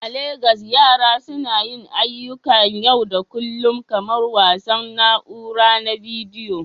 A Legas, yara suna yin ayyukan yau da kullun kamar wasan na'ura na bidiyo.